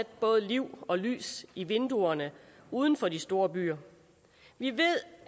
både liv og lys i vinduerne uden for de store byer vi ved